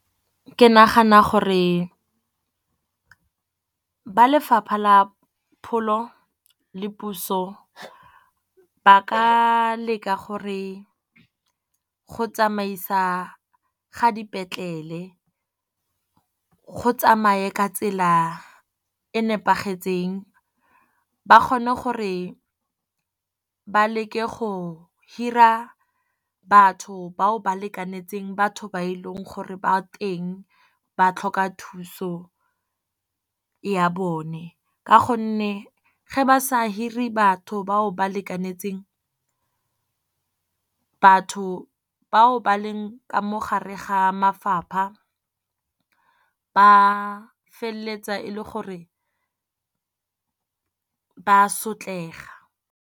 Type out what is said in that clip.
Ke nagana gore ba lefapha la pholo le puso, ba ka leka gore go tsamaisa ga dipetlele go tsamaye ka tsela e nepagetseng. Ba kgone gore ba leke go hira batho ba o ba lekanetseng batho ba e leng gore ba teng ba tlhoka thuso ya bone. Ka gonne ge ba sa hire batho ba o ba lekanetseng, batho ba o ba leng ka mo gare ga mafapha ba feleletsa e le gore ba sotlega.